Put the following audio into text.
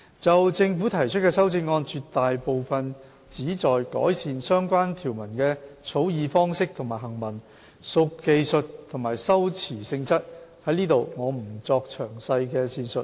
就政府提出的修正案，絕大部分旨在改善相關條文的草擬方式和行文，屬技術及修辭性質，我在此不作詳細的闡述。